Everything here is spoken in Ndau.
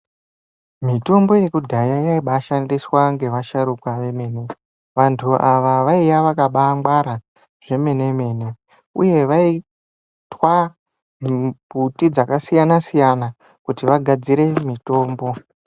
Mitombo yedhaya yaimbashandiswa ngevasharuka vemene. Vantu ava vaiya vakambaangwara zvemene-mene uye vaitwa mimbuti dzakasiyana-siyana kuti vagadzire mitombo.